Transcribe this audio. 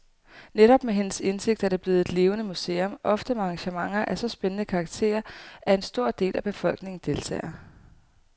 Netop med hendes indsigt er det blevet et levende museum, ofte med arrangementer af så spændende karakter, at en stor del af befolkningen deltager.